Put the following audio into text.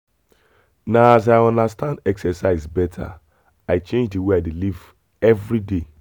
na as i understand exercise better i change the way i dey live every day.